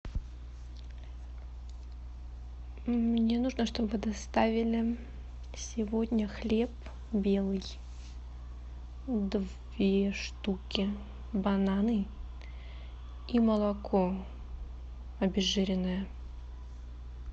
мне нужно чтобы доставили сегодня хлеб белый две штуки бананы и молоко обезжиренное